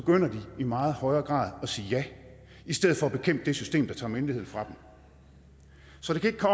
i meget højere grad at sige ja i stedet for at bekæmpe det system der tager myndighed fra dem så det kan